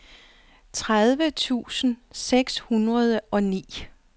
tredive tusind seks hundrede og ni